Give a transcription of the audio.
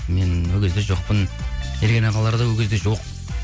мен ол кезде жоқпын ерген ағалар да ол кезде жоқ